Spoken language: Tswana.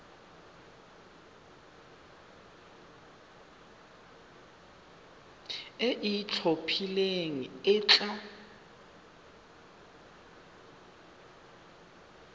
e e itlhophileng e tla